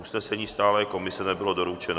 Usnesení Stálé komise nebylo doručeno.